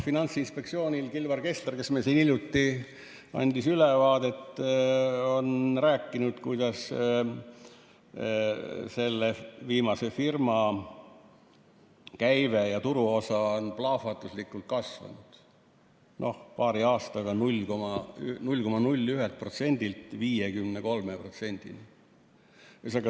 Finantsinspektsioonist Kilvar Kessler, kes meil siin hiljuti käis ülevaadet andmas, on rääkinud, kuidas selle viimase firma käive ja turuosa on plahvatuslikult kasvanud: paari aastaga 0,01%-lt 53%-ni.